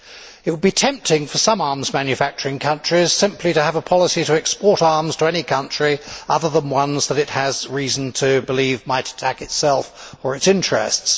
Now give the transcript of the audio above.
It would be tempting for some arms manufacturing countries simply to have a policy to export arms to any country other than ones that it has reason to believe might attack itself or its interests.